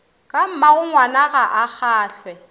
ka mmagongwana ga a kgahlwe